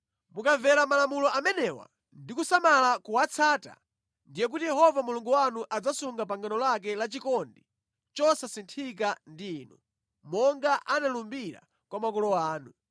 Mukamvera malamulo amenewa, ndi kusamala kuwatsata, ndiye kuti Yehova Mulungu wanu adzasunga pangano lake la chikondi chosasinthika ndi inu, monga analumbira kwa makolo anu.